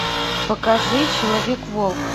покажи человек волк